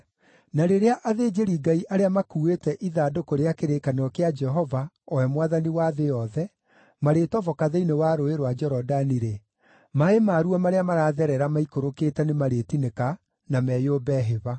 Na rĩrĩa athĩnjĩri-Ngai arĩa makuuĩte ithandũkũ rĩa kĩrĩkanĩro kĩa Jehova, o we Mwathani wa thĩ yothe, marĩtoboka thĩinĩ wa Rũũĩ rwa Jorodani-rĩ, maaĩ maruo marĩa maratherera maikũrũkĩte nĩmarĩtinĩka na meyũmbe hĩba.”